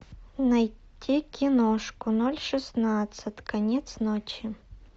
найти киношку ноль шестнадцать конец ночи